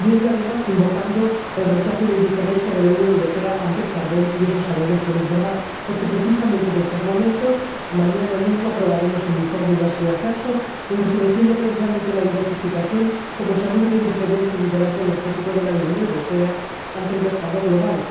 Y ello, además, invocando el rechazo y la indiferencia de la Unión Europea ante el carbón, lo cual sabemos que no es verdad, porque precisamente mañana aprobaremos el informe de la señora Herczog, en el que se defiende precisamente la diversificación como seguro de independencia y liderazgo energético de la Unión Europea ante el mercado global.